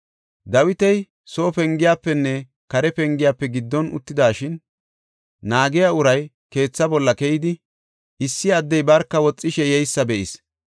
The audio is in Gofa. Dawiti soo pengiyafenne kare pengiyafe giddon uttidashin, naagiya uray keethaa bolla keyidi, issi addey barka woxishe yeysa be7is.